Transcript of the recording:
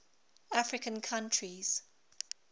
african countries